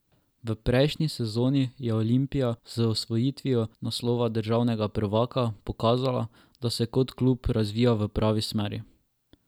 V prejšnji sezoni je Olimpija z osvojitvijo naslova državnega prvaka pokazala, da se kot klub razvija v pravi smeri.